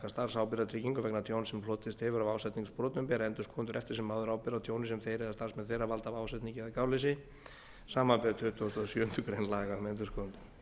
starfsábyrgðartryggingu vegna tjóns sem hlotist hefur af ásetningsbrotum bera endurskoðendur eftir sem áður ábyrgð á tjóni sem þeir eða starfsmenn þeirra valda af ásetningi eða gáleysi samanber tuttugustu og sjöundu grein laga um endurskoðendur